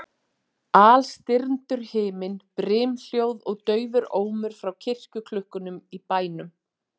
Alstirndur himinn, brimhljóð og daufur ómur frá kirkjuklukkunum í bænum.